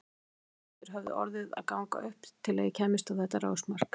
Óteljandi hlutir höfðu orðið að ganga upp til að ég kæmist á þetta rásmark.